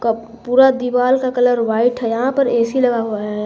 Cup पूरा दीवाल का कलर व्हाइट है यहां पर ए_सी लगा हुआ है।